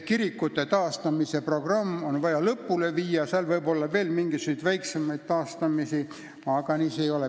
Kirikute taastamise programm on vaja lõpule viia.